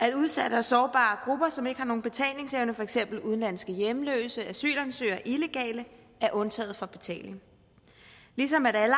at udsatte og sårbare grupper som ikke har nogen betalingsevne for eksempel udenlandske hjemløse asylansøgere og illegale er undtaget fra betaling ligesom alle